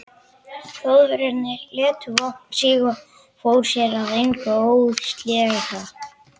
Þjóðverjinn lét vopnið síga og fór sér að engu óðslega.